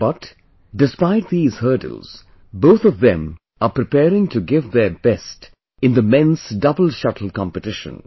But, despite these hurdles, both of them are preparing to give their best in the Men's Double Shuttle Competition